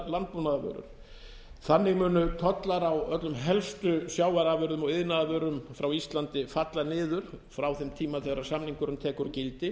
landbúnaðarvörur þannig munu tollar á öllum helstu sjávarafurðum og iðnaðarvörum frá íslandi falla niður frá þeim tíma þegar samningurinn tekur gildi